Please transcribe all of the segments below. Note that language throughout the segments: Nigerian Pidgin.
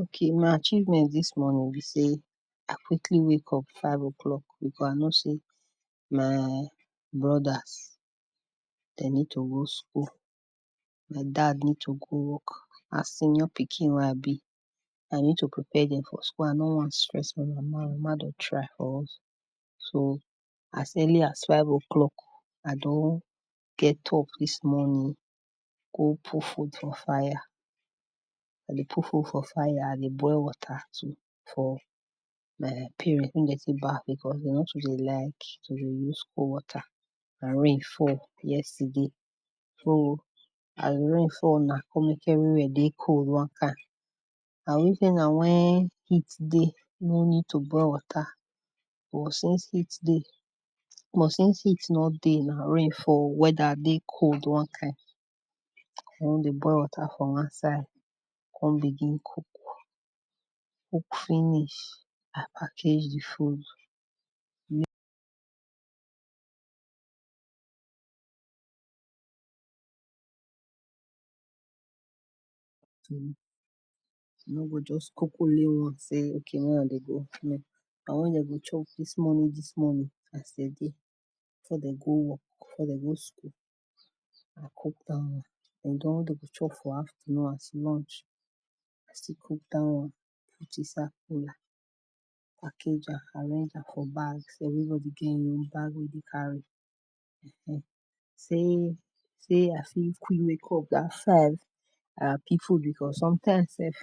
Okay my achievement dis morning be sey, I quickly wake up five o’clock because I know sey my brothers, dem need to go school, den dad need to go work, as senior pikin wey I be, I need to prepare dem for school, I no wan stress ma mama, my mama dey try for us, so as early as five o’clock I don get up dis morning, go put food for fire, as I dey put food for fire, I dey boil water to for my parents make dem take baf because dem nor too dey like to dey use cold water and rain fall yesterday so as di rain fall na come make everywhere dey cold one kind. sey na when heat dey, no need to boil water but since heat dey, but since heat nor dey na, rain fall weather dey cold one kin, I wan dey boil water for one side, come begin cook, cook finish, I package di food I nor go just cook only one sey, [2] dis one dem go chop dis morning dis morning as dem dey before dem go work, before dem go school, I cook dat one, den di one dem chop for afternoon as lunch, I still cook dat one put inside cooler, package am I arrange am for bag, everybody get e own bag wey e dey carry sey sey I fit quick wake up dat five I happy too because sometimes sef,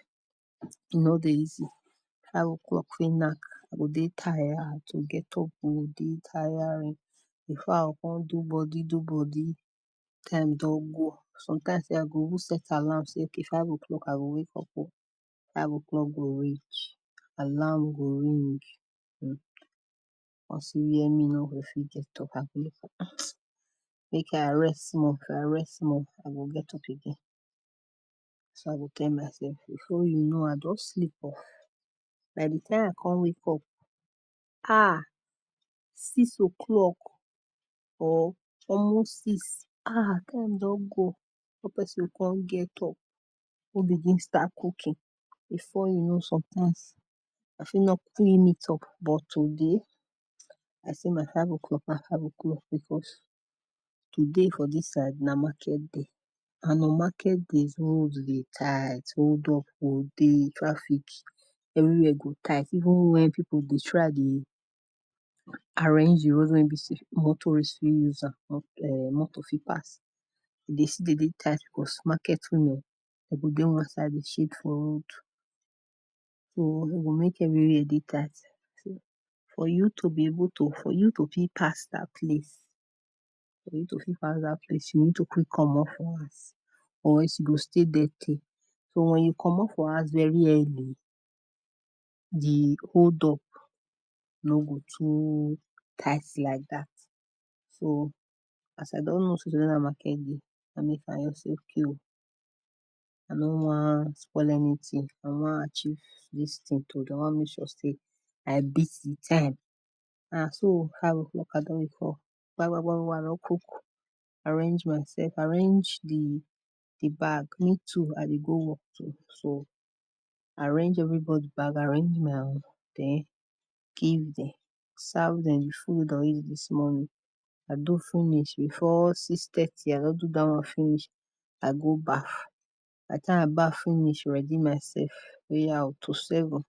e nor dey easy five o’clock fit nack i go dey tired, to get up go dey tiring, before I go come do body, do body time don go, sometime sef I go even set alarm sey okay five o’clock I go wake up oh, five o’clock go reach, alarm go ring I go see where me nor go fit get up, I go make I rest small if i rest small I go get up again, na so I go tell myself before you know I don sleep off, by di time I come wake up ah, six o’clock or almost six, ah time don go. Before person go come get up, come begin start cooking before you know sometimes, you fit nor quickly meet up but today, I say my five o’clock na five o’clock oh because today for dis side, na market day and on market days, road dey tight hold up dey dey, traffic, everywhere go tight even when people dey try dey arrange di road wen be sey motorist fit use am, motor fit pass, e dey still dey tight because market women, dem dey dey one side dey shade for road, so e go make everywhere dey tight, for you to be able to, for you to fit pass at least, for you to fit pass dat place you go need to quick komot for house or else you go stay there tey, but when you komot for house early, di hold up nor go too tight like dat. So as I don know sey today na market day so I say okay o I no wan spoil anything, I wan achieve dis tin today, I make sure sey I beat di time, and so five o’clock I don wake up, kpa kpa kpa kpa I don cook, arrange myself, arrange di di bag me too I dey go work too, so arrange everybody bag, arrange my own den give dem, serve dem di food dem go eat dis morning, I do finish before six thirty I don do dat one finish, I go baf, by di time I baf finish, ready myself oya oh, to seven,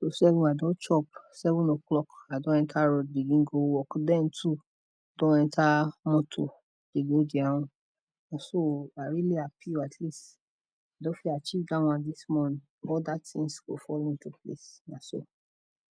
to seven I don chop by seven o clock I don enter road begin go work, dem too don enter motor dey go their own, na so oh, I really happy at least, I don fit achieve dat one dis morning oda things go follow na so.